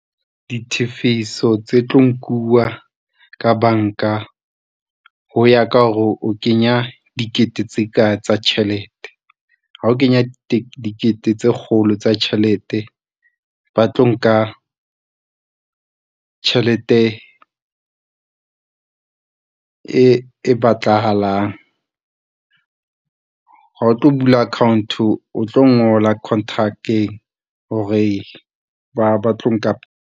Ditifiso tse tlo nkuwa ka bank-a, ho ya ka hore o kenya dikete tse ka tjhelete, ha o kenya dikete tse kgolo tsa tjhelete ba tlo nka tjhelete e batlahalang. Ha o tlo bula account-o, o tlo ngola contract-eng hore ba tlo nka.